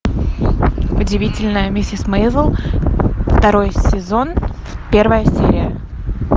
удивительная миссис мейзел второй сезон первая серия